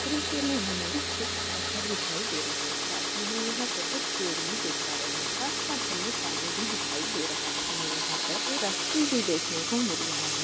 दृश्य में हमें कुछ पत्थर दिखाई दे रहे हैं साथी हम यहां पर कुछ पेड़ भी देख पा रहे हैं। आसपास हमें पानी भी दिखाई दे रहा है। हमें यहां पर एक फैक्ट्री भी देखने को मिल रहा है।